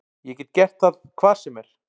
Ég get gert það hvar sem er.